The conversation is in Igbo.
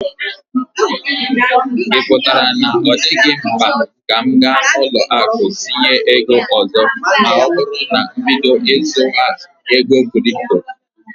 Ị pụtara na ọ dịghị mkpa ka m ga ụlọ akụ iji tinye ego ọzọ ma oburu na mbido zuwa ego kripto